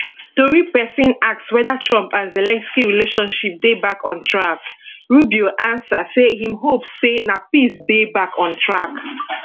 tori pesin ask weda trump and zelensky relationship dey back on track rubio ansa say im hope say na peace dey back on track